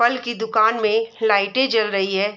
फल की दुकान में लाइटें जल रही है।